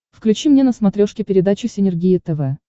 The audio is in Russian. включи мне на смотрешке передачу синергия тв